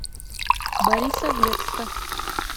борисоглебска